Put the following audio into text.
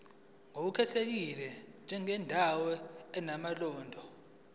ngokukhethekile njengendawo enomlando